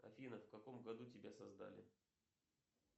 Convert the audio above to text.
афина в каком году тебя создали